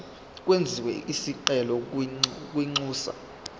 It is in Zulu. kwenziwe isicelo kwinxusa